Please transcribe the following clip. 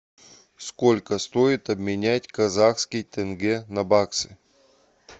сколько стоит обменять казахский тенге на баксы